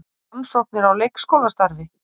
Rannsóknir á leikskólastarfi